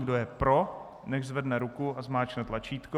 Kdo je pro, nechť zvedne ruku a zmáčkne tlačítko.